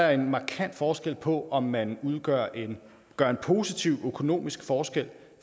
er en markant forskel på om man gør en positiv økonomisk forskel